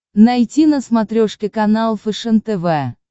найти на смотрешке канал фэшен тв